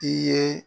I ye